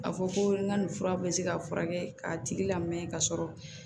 A fɔ ko n ka nin fura bɛ se ka furakɛ k'a tigi lamɛn ka sɔrɔ